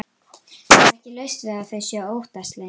Það er ekki laust við að þau séu óttaslegin.